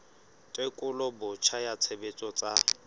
tekolo botjha ya tshebetso tsa